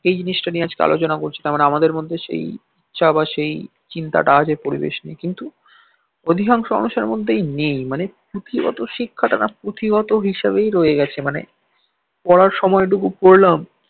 এই জিনিসটা নিয়ে আজকে আলোচনা করছিলাম মানে আমাদের মধ্যে সেই বা সেই চিন্তা টা আছে পরিবেশ নিয়ে কিন্তু অধিকাংশ মানুষের মধ্যেই নেই মানে পুঁথিগত শিক্ষাটা না পুঁথিগত হিসাবেই রয়ে গেছে মানে পড়ার সময় টুকু পড়লাম